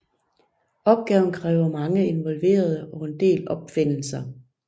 Opgaven kræver mange involverede og en del opfindelser